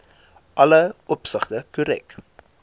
alle opsigte korrek